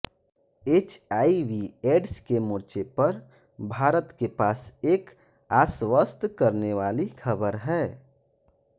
HIV AIDS के मोर्चे पर भारत के पास एक आश्वस्त करने वाली खबर है